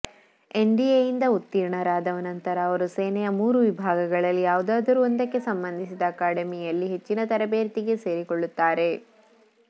ಎನ್ಡಿಎಯಿಂದ ಉತ್ತೀರ್ಣರಾದ ನಂತರ ಅವರು ಸೇನೆಯ ಮೂರು ವಿಭಾಗಗಳಲ್ಲಿ ಯಾವುದಾದರೂ ಒಂದಕ್ಕೆ ಸಂಬಂಧಿಸಿದ ಅಕಾಡೆಮಿಯಲ್ಲಿ ಹೆಚ್ಚಿನ ತರಬೇತಿಗೆ ಸೇರಿಕೊಳ್ಳುತ್ತಾರೆ